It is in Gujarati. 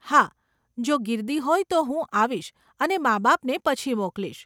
હા, જો ગીર્દી હોય તો હું આવીશ અને માબાપને પછી મોકલીશ.